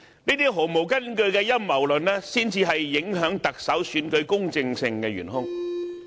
這些毫無根據的陰謀論才是影響特首選舉公正性的元兇。